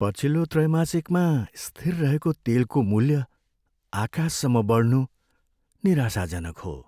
पछिल्लो त्रैमासिकमा स्थिर रहेको तेलको मूल्य आकाशसम्म बढ्नु निराशाजनक हो।